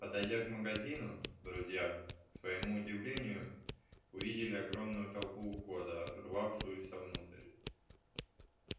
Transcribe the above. подойдя к магазину друзья к своему изумлению увидели огромную толпу у входа рвавшуюся внутрь